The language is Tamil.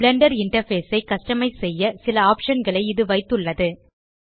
பிளெண்டர் இன்டர்ஃபேஸ் ஐ கஸ்டமைஸ் செய்ய சில ஆப்ஷன் களை இது வைத்துள்ளது